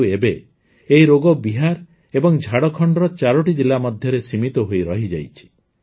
କିନ୍ତୁ ଏବେ ଏହି ରୋଗ ବିହାର ଏବଂ ଝାଡ଼ଖଣ୍ଡର ୪ଟି ଜିଲ୍ଲା ମଧ୍ୟରେ ସୀମିତ ହୋଇ ରହିଯାଇଛି